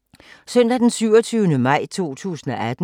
Søndag d. 27. maj 2018